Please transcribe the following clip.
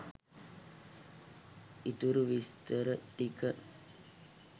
ඉතුරු විස්තර ටික